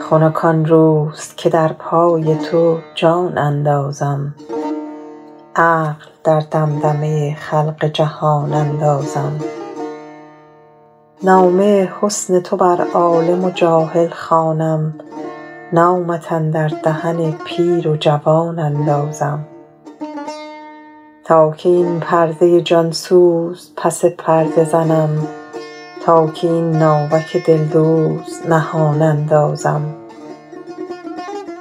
خنک آن روز که در پای تو جان اندازم عقل در دمدمه خلق جهان اندازم نامه حسن تو بر عالم و جاهل خوانم نامت اندر دهن پیر و جوان اندازم تا کی این پرده جان سوز پس پرده زنم تا کی این ناوک دلدوز نهان اندازم